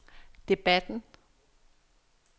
debatten